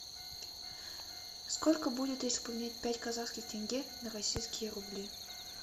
сколько будет если поменять пять казахских тенге на российские рубли